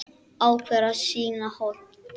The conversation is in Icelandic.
Ákveður að sýna hold.